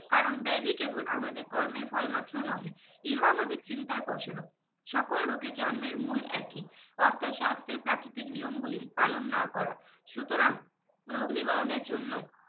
কারন ব্যাধি কেবল আমাদের কর্মের ফল মাত্র নহে ইহা আমাদের চিন্তার ফল স্বরূপ সকল রোগের জন্মের মুল একই অর্থাৎ স্বাস্থ্যের প্রাকৃতিক নিয়ম গুলি পালন না করা সুতরাং রোগ নিবারণের জন্য